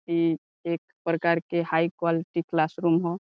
इ एक प्रकार के हाई क्वॉलिटी क्लास रूम ह।